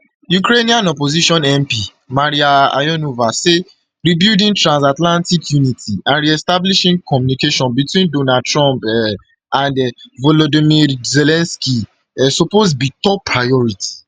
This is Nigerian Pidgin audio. ukrainian opposition mp mariia ionova say rebuilding transatlantic unity and reestablishing communication between donald donald trump um and volodymyr zelensky um suppose be top priority